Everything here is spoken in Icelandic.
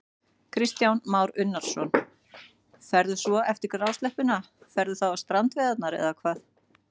Kristján Már Unnarsson: Ferðu svo eftir grásleppuna, ferðu þá á strandveiðarnar eða hvað?